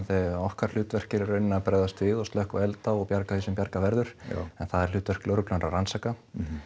okkar hlutverk er í raun að bregðast við og slökkva elda og bjarga því sem bjargað verður en það er hlutverk lögreglunnar að rannsaka